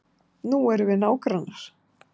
Nú erum við nágrannar.